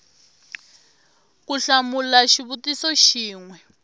ku hlamula xivutiso xin we